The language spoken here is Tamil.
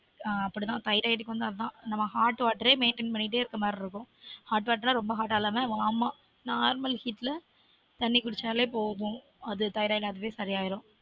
ஆன் அப்டி தான் thyroid க்கு வந்து அதான் நம்ம hot water ஏ maintain பண்ணிட்டே இருக்குற மாதிரி இருக்கும் hot water நா ரொம்ப hot ஆ இல்லாம warm அ normalheat ல தண்ணி குடிச்சாலே போதும் அது thyroid அதுவே சரி ஆகிடும்